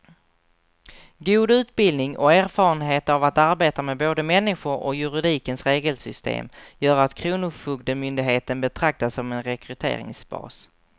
God utbildning och erfarenhet av att arbeta med både människor och juridikens regelsystem gör att kronofogdemyndigheten betraktas som en rekryteringsbas.